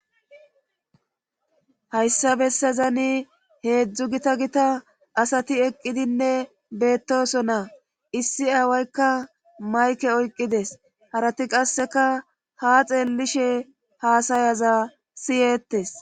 hayssa bessazani heedzdzu gita gita asati eqqidinne beettoso naa issi aawaykka mayke oyqqides harati qasseka ha xeellishe haasayaza siyeettes